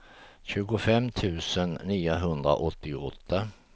tjugofem tusen niohundraåttioåtta